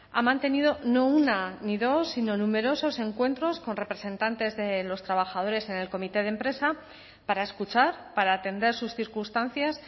ha mantenido no una ni dos sino numerosos encuentros con representantes de los trabajadores en el comité de empresa para escuchar para atender sus circunstancias